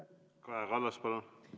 Kaja Kallas, palun!